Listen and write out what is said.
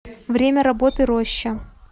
время работы роща